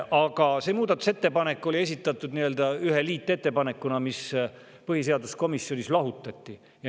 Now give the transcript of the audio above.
Aga see muudatusettepanek oli esitatud ühe liitettepanekuna, mis põhiseaduskomisjonis lahutati.